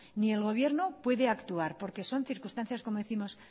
ni el gobierno puede actuar porque son circunstancias como décimos